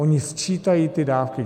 Oni sčítají ty dávky.